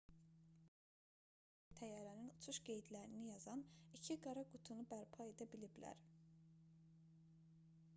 xinxua bildirdi ki dövlət tədqiqatçıları çərşənbə günü təyyarənin uçuş qeydlərini yazan iki qara qutunu bərpa edə biliblər